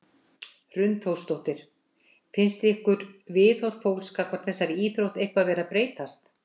Hrund Þórsdóttir: Finnst ykkur viðhorf fólks gagnvart þessari íþrótt eitthvað vera að breytast?